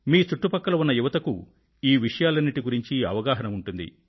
మీ చుట్టుపక్కల ఉన్న యువతకు ఈ విషయాలన్నింటి గురించి అవగాహన ఉంటుంది